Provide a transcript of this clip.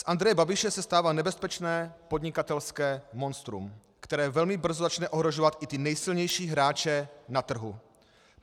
Z Andreje Babiše se stává nebezpečné podnikatelské monstrum, které velmi brzo začne ohrožovat i ty nejsilnější hráče na trhu.